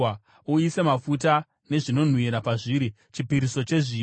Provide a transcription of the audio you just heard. Uise mafuta nezvinonhuhwira pazviri, chipiriso chezviyo.